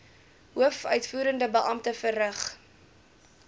hoofuitvoerende beampte verrig